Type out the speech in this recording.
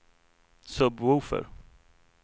sub-woofer